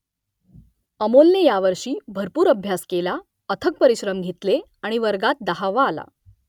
अमोलने यावर्षी भरपूर अभ्यास केला अथक परिश्रम घेतले आणि वर्गात दहावा आला